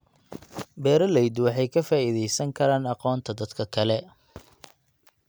Beeraleydu waxay ka faa'iidaysan karaan aqoonta dadka kale.